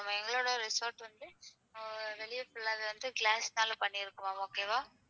இது வந்து glass னால பண்ணிருக்கோம் okay வா?